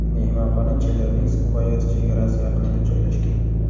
Mehmonxona Chelyabinsk viloyati chegarasi yaqinida joylashgan.